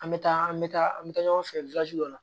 An bɛ taa an bɛ taa an bɛ taa ɲɔgɔn fɛ dɔ la